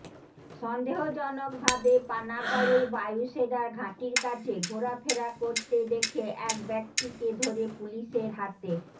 সন্দেহজনক ভাবে পানাগড়ের বায়ুসেনার ঘাঁটির কাছে ঘোরাফেরা করতে দেখে এক ব্যক্তিকে ধরে পুলিশের হাতে